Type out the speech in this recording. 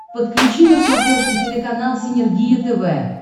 подключи на смотрешке телеканал синергия тв